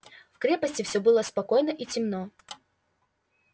в крепости всё было спокойно и темно